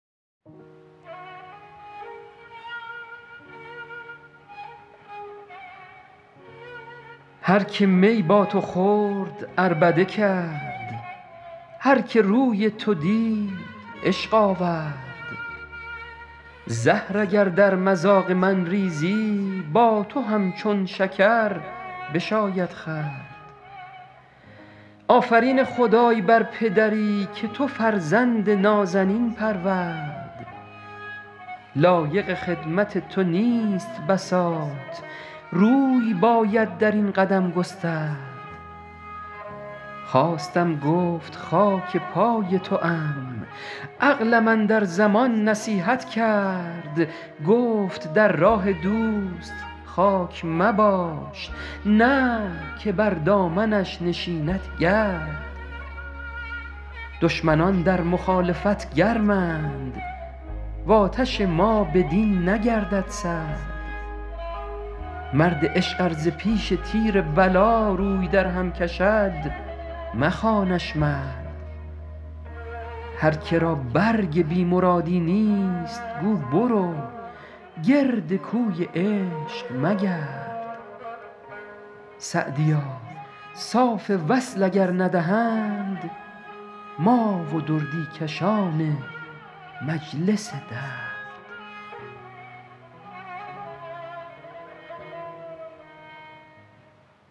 هر که می با تو خورد عربده کرد هر که روی تو دید عشق آورد زهر اگر در مذاق من ریزی با تو همچون شکر بشاید خورد آفرین خدای بر پدری که تو فرزند نازنین پرورد لایق خدمت تو نیست بساط روی باید در این قدم گسترد خواستم گفت خاک پای توام عقلم اندر زمان نصیحت کرد گفت در راه دوست خاک مباش نه که بر دامنش نشیند گرد دشمنان در مخالفت گرمند و آتش ما بدین نگردد سرد مرد عشق ار ز پیش تیر بلا روی درهم کشد مخوانش مرد هر که را برگ بی مرادی نیست گو برو گرد کوی عشق مگرد سعدیا صاف وصل اگر ندهند ما و دردی کشان مجلس درد